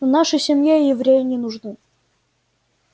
в нашей семье евреи не нужны